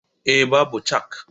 Eh, Babu chak